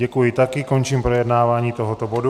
Děkuji taky, končím projednávání tohoto bodu.